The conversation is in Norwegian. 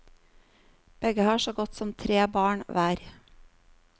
Begge har så godt som tre barn hver.